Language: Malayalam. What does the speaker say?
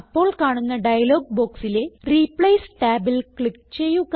അപ്പോൾ കാണുന്ന ഡയലോഗ് ബോക്സിലെ റിപ്ലേസ് ടാബിൽ ക്ലിക്ക് ചെയ്യുക